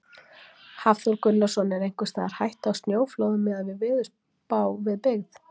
Hafþór Gunnarsson: Er einhvers staðar hætta á snjóflóðum miðað við veðurspá við byggð?